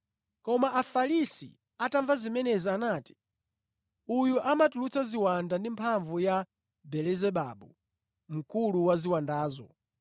Koma Afarisi atamva zimenezi, anati, “Uyu amatulutsa ziwanda ndi mphamvu ya Belezebabu mkulu wa ziwandazo.”